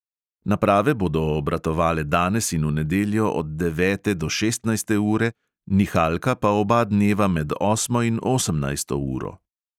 Naprave bodo obratovale danes in v nedeljo od devete do šestnajste ure, nihalka pa oba dneva med osmo in osemnajsto uro.